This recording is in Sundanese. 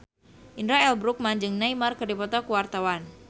Indra L. Bruggman jeung Neymar keur dipoto ku wartawan